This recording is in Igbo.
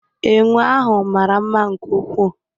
Enwe ahụ mara mma nke ukwuu